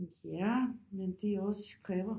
Ja men de også kræver